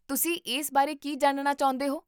ਤੁਸੀਂ ਇਸ ਬਾਰੇ ਕੀ ਜਾਣਨਾ ਚਾਹੁੰਦੇ ਹੋ?